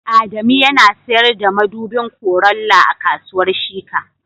Adamu yana sayar da madubin Corolla a kasuwar Shika